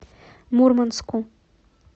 мурманску